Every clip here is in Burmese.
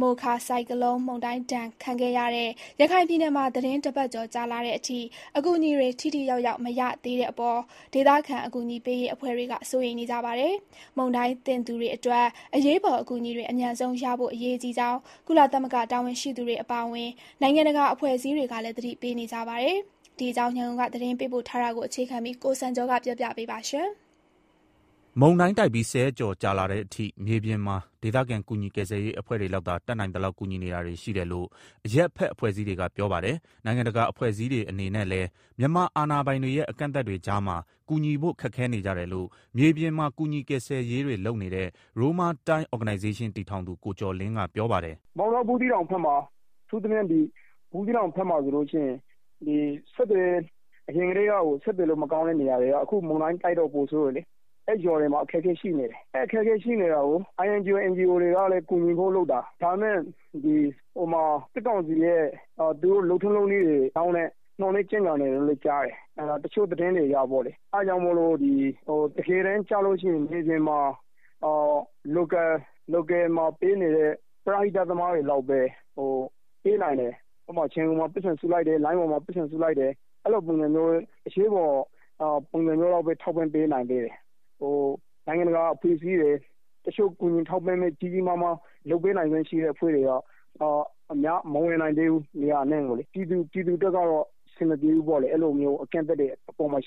မိုခါဆိုင်ကလုန်း မုန်တိုင်းဒဏ် ခံခဲ့ရတဲ့ ရခိုင်ပြည်နယ်မှာ သီတင်း ၁ ပတ်ကျော် ကြာလာတဲ့အထိ အကူအညီတွေ ထိထိရောက်ရောက် မရသေးတဲ့အပေါ် ဒေသခံ အကူအညီပေးရေး အဖွဲ့တွေ စိုးရိမ်နေကြပါတယ်။ မုန်တိုင်းသင့်သူတွေအတွက် အရေးပေါ် အကူအညီတွေ အမြန်ဆုံးရဖို့ အရေးကြီးကြောင်း ကုလသမဂ္ဂ တာဝန်ရှိသူတွေ အပါအဝင် နိုင်ငံတကာ အဖွဲ့အစည်းတွေကလည်း သတိပေးနေကြတာပါ။ ဒီအကြောင်း ရန်ကုန်က သတင်းပေးပို့ထားတာကို အခြေခံပြီး ကိုစံကျော်ကတင်ပြပေးပါမယ်။ မုန်တိုင်းတိုက်ပြီးဆယ်ရက်ကျော်လာတဲ့ အထိ မြေပြင်မှာ ဒေသခံ ကူညီကယ်ရေးအဖွဲ့တွေလောက်သာ တတ်နိုင်သလောက်ကူညီနေတာတွေရှိတယ်လို့ အရပ်ဖက်အဖွဲ့အစည်းတွေက ပြောပါတယ်။ နိုင်ငံတကာ အဖွဲ့အစည်းတွေအနေနဲ့လည်း မြန်မာအာဏာပိုင်တွေရဲ့ အကန့်အသတ်တွေကြားမှာ ကူညီဖို့ ခက်ခဲနေကြတယ်လို့ မြေပြင်မှာ ကူညီကယ်ဆယ် တွေလုပ်နေတဲ့ Roma Time Organization တည်ထောင်သူ ကိုကျော်လင်းကပြောပါတယ်။ “ မောင်တော ဘူးသီးတောင်ဘက်မှာ အထူးသဖြင့် ဘူးသီးတောင်ဘက်မှာ အရင်ကတည်းက ဆက်သွယ်ရေး မကောင်းတဲ့နေရာတွေက အခုမုန်တိုင်းတိုက်တော့ ပိုဆိုးတယ်။ အဲနေရာ တွေမှာ အခက်အခဲဖြစ်နေတယ်။ အဲတာကို INGO NGO တွေက ကူညီဖို့လုပ်တာ၊ ဒါပေမယ့် စစ်ကောင်စီရဲ့ လုပ်ထုံးလုပ်နည်းတွေကြောင့် နှောင့်နည်းကြန့်ကြာ နေတယ်လို့ကြား တယ်။ တချို့သတင်းတွေအရ တကယ်တမ်း ကျရင် မြေမြင်မှာ Local ပရဟိတ သမားတွေ လောက်ပဲ ပေးနိင်တယ် ဥပမာ လိုင်းပေါ်မှာ ပိုက်ဆံစုလိုက်တယ် အဲလို အရေးပေါ်ပုံစံမျိုး လောက်ပဲ ထောက်ပံ့ပေးနိုင်သေးတယ်။ နိုင်ငံတကာအဖွဲ့တွေ တခြား ကြီးကြီးမားမား ကူညီထောက် ပံ့ပေးနိုင်တဲ့ အဖွဲ့တွေက မဝင်နိုင်သေးဘူး နေရာအနှံ့ကိုလေ၊ ပြည်သူအတွက် ကတော့ အဆင်မပြေဘူးပေါ့လေ အဲလို အကန့်အသတ်တွေ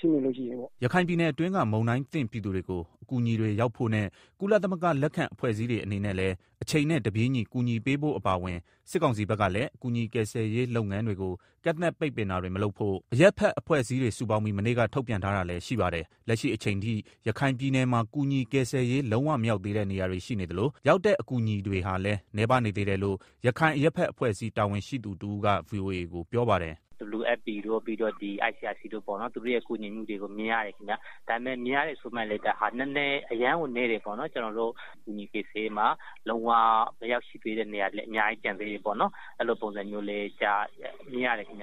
ရှိနေရင်လေ။” ရခိုင်ပြည်နယ်အတွင်းက မုန်တိုင်းသင့်ပြည်သူတွေကို အကူညီတွေ ရောက်ဖို့ နဲ့ ကုလသမဂ္ဂ လက်အောက်ခံအဖွဲ့အစည်းတွေအနေနဲ့လည်း အချိန်နဲ့တပြေးညီ ကူညီပေးဖို့အပါအဝင် စစ်ကောင်စီဘက်ကလည်း ကူညီကယ်ဆယ်ရေးလုပ်ငန်းတွေကို ကန့်သတ်ပိတ်ပင်တာတွေ မလုပ်ဖို့ အရပ်ဖက်အဖွဲ့အစည်းတွေ စုပေါင်းပြီး မနေ့က ထုတ်ပြန်ထားတာလည်းရှိပါတယ်။ လက်ရှိအချိန်ထိ ရခိုင်ပြည်နယ်မှာ ကူညီကယ်ဆယ်ရေး လုံးဝမရောက်သေးတဲ့ နေရာတွေ ရှိနေသလို ရောက်တဲ့ အကူအညီတွေဟာလည်း နည်းပါးနေသေးတယ်လို့ ရခိုင်အရပ်ဖက်အဖွဲ့ အစည်းတာဝန်ရှိသူတဦးကပြောပါတယ်။ “ WFP တို့ ICRC တို့ရဲ့ ကူညီမှုတွေကို မြင်ရတယ်ခင်ဗျာ၊ ဒါပေမယ့် မြင်ရတယ်ဆိုပေမယ့် အရမ်းကို နည်းတယ်ပေါ့နော်၊ကျနော်တို့ ကူညီကယ်ဆယ်ရေးမှာလုံးဝကို မရောက်ရှိ သေးတဲ့နေရာတွေလည်း အများကြီးကျန်သေးတယ်ပေါ့နော်၊ အဲလိုပုံစံတွေ လည်းမြင် ရတယ်။”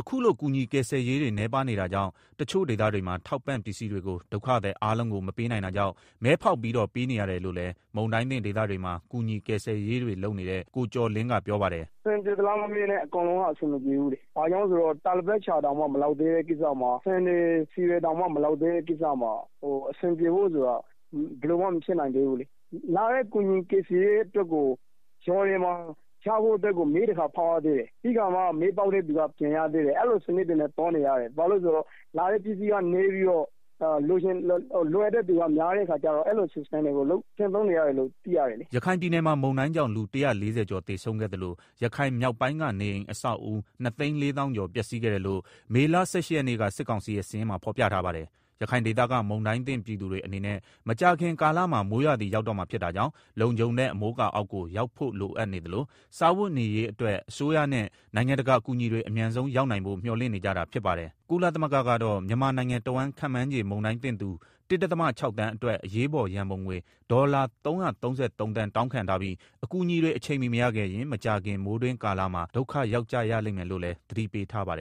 အခုလို ကူညီကယ်ဆယ်ရေးတွေ နည်းပါးနေတာကြောင့် တချို့ ဒေသတွေမှာထောက်ပံ့ ပစ္စည်းတွေကို ဒုက္ခသည်အားလုံးကို မပေးနိုင်တာကြောင့်မဲဖောက်ပြီးတော့ ပေးနေရတယ် လို့လည်း မုန်တိုင်းသင့်ဒေသတွေမှာ ကူညီဆယ်ကယ်ရေးတွေလုပ်နေ တဲ့ကိုကျော်လင်း ကပြောပါတယ်။ “ အဆင်ပြေသလားမမေးနဲ့ အကုန်လုံးက အဆင်မပြေဘူးလေ ဘာကြောင့်လဲဆိုတော့ တာပေါ်လိပ်တောင်မှမလောက်သေးတဲ့ ကိစ္စမှာ ဆန်တွေ ဆီတွေတောင်မှ မောလကသေးတဲ့ ကိစ္စမှာ အဆင်ပြေဖို့ဆိုတာ ဘယ်လိုမှမဖြစ်နိုင် သေးဘူးလေ၊ လာတဲ့ ကူညီကယ်ဆယ်ရေး တွေကို မဲတခါ ဖောက်ရသေးတယ်၊ ပြီးတော့မှ မဲပေါက်တဲ့သူက ပြန်ရတာအဲလို စနစ်တွေနဲ့ သွားနေရတယ် ဘာလို့လည်းဆိုတော့ လာတဲ့ ကူညီရေးပစ္စည်းတွေက နည်းပြီး လိုအပ်တဲ့သူက များနေတဲ့အခါကျတော့ အဲလို စနစ်နဲ့ပဲ သွားနေရတယ်လို့ သိရတယ်။ ” ရခိုင်ပြည်နယ်မှာမုန်တိုင်းကြောင့် လူ ၁၄၀ကျော်သေဆုံးခဲ့သလို ရခိုင်မြောက်ပိုင်းက နေအိမ်အဆောက်အဦး ၂၄၀၀၀၀ ကျော် ပျက်စီးခဲ့တယ်လို့ မေလ ၁၈ရက်နေ့က စစ်ကောင်စီရဲ့ စာရင်းမှာဖော်ပြထားပါတယ်။ ရခိုင်ဒေသက မုန်တိုင်းသင့်ပြည်သူတွေ အနေနဲ့ မကြာခင်ကာလမှာ မိုးရာသီရောက်တော့မှာဖြစ်တာကြောင့် လုံခြုံတဲ့အမိုးအကာအောက်ကို ရောက်ဖို့လိုအပ်နေသလို စားဝတ်နေရေးအတွက် အစိုးရနဲ့ နိုင်ငံတကာအကူအညီတွေ အမြန်ဆုံးရောက်နိုင်ဖို့ မျှော်လင့်နေကြတာပါတယ်။ ကုလသမဂ္ဂကတော့ မြန်မာနိုင်ငံတဝန်း ခန့်မှန်းခြေ မုန်တိုင်းသင့်သူ ၁.၆ သန်း အတွက် အရေးပေါ် ရန်ပုံငွေ ဒေါ်လာ ၃၃၃ သန်း တောင်းခံထားပြီး၊ အကူအညီတွေ အချိန်မီမရခဲ့ရင် မကြာခင် မိုးတွင်းကာလမှာ ဒုက္ခရောက်ကြရလိမ့်မယ်လို့လည်း သတိပေးထားပါတယ်